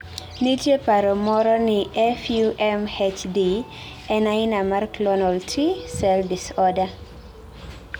nitie paro moro ni FUMHD en aina mar clonal T cell disorder